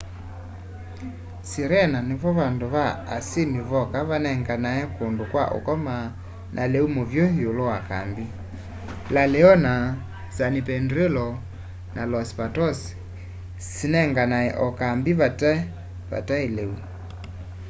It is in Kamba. sirena nivo vandũ va asyĩmi voka vanenganae kũndũ kwa ũkoma na lĩu mũvyũ ĩũlũ wa kambĩ la leona san pedrillo na los patos sinenganae o kambĩ vataĩ lĩu